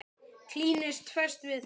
Klínist fast við það.